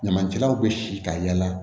Ɲamancɛlaw bɛ si ka yala